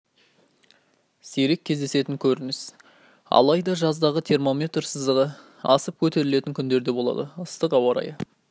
сирек кездесетін көрініс алайда жаздағы термометр сызығы асып көтерілетін күндер де болады ыстық ауа райы